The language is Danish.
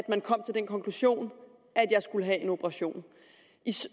man kom til den konklusion at jeg skulle have en operation